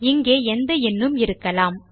இங்கே எந்த எண்ணும் இருக்கலாம்